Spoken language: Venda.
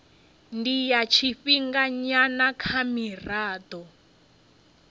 ndi ya tshifhinganyana kha mirado